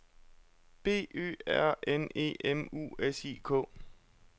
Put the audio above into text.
B Ø R N E M U S I K